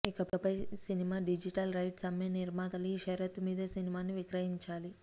ఇకపై cinema digital rights అమ్మే నిర్మాతలు ఈ షరతు మీదే సినిమాను విక్రయించాలి